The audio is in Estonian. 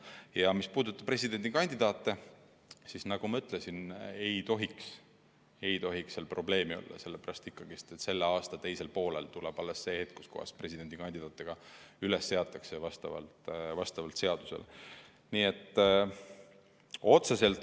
Ja mis puudutab presidendikandidaate, siis nagu ma ütlesin, ei tohiks ka sellega probleemi tekkida, sellepärast et alles selle aasta teisel poolel tuleb see hetk, kui presidendikandidaadid vastavalt seadusele üles seatakse.